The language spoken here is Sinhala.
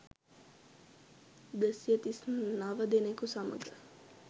දෙසිය තිස් නව දෙනෙකු සමඟ